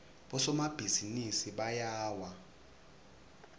bosomabhizinisi bayawa